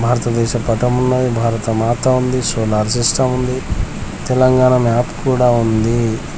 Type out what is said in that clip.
భారత దేశ పటమున్నది భారతమాత ఉంది సోలార్ సిస్టం ఉంది తెలంగాణ మ్యాప్ కూడా ఉందీ.